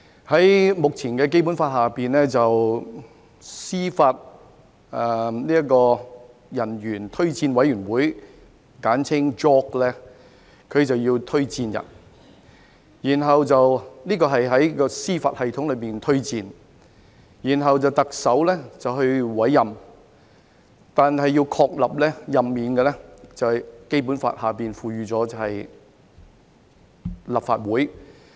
在目前的《基本法》下，司法人員推薦委員會需要推薦人選，是在司法系統內推薦，然後由特首委任，但要確立任免，則按《基本法》由立法會通過。